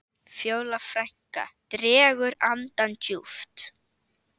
Fjóla frænka dregur andann djúpt.